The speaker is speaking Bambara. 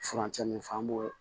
Furancɛ min fɔ an b'o